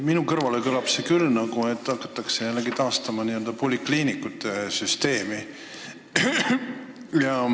Minu kõrvus kõlab see küll nii, nagu hakataks taastama polikliinikute süsteemi.